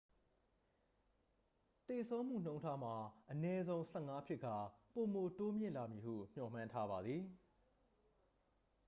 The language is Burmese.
သေဆုံးမှုနှုန်းထားမှာ အနည်းဆုံး 15 ဖြစ်ကာ ပိုမိုတိုးမြင့်လာမည်ဟု မျှော်မှန်းထားပါသည်